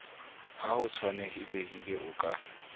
ha ho tshwanelehile o ka